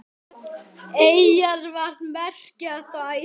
Eyjar, hvað merkja þær?